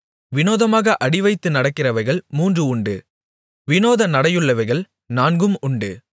விநோதமாக அடிவைத்து நடக்கிறவைகள் மூன்று உண்டு விநோத நடையுள்ளவைகள் நான்கும் உண்டு